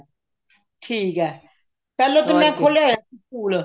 ਠੀਕ ਹੈ ਪਹਿਲਾਂ ਤੇ ਮੈਂ ਖੋਲਿਆ ਹੋਇਆ ਸੀ ਸਕੂਲ